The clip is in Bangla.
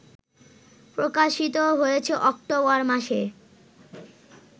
প্রকাশিত হয়েছে অক্টোবর মাসে